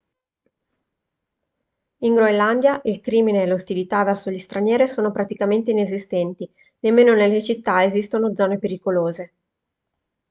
in groenlandia il crimine e l'ostilità verso gli stranieri sono praticamente inesistenti nemmeno nelle città esistono zone pericolose